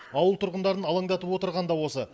ауыл тұрғындарын алаңдатып отырған да осы